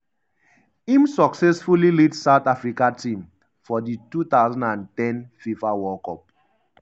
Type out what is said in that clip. im successfully lead south africa team for di 2010 fifa world cup. um